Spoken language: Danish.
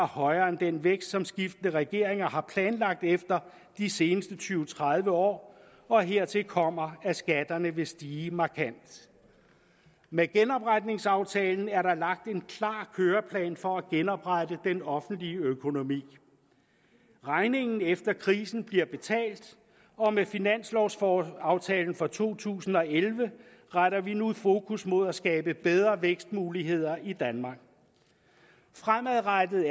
højere end den vækst som skiftende regeringer har planlagt efter de seneste tyve til tredive år og hertil kommer at skatterne vil stige markant med genopretningsaftalen er der lagt en klar køreplan for at genoprette den offentlige økonomi regningen efter krisen bliver betalt og med finanslovaftalen for to tusind og elleve retter vi nu fokus mod at skabe bedre vækstmuligheder i danmark fremadrettet